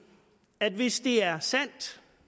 at hvis det er sandt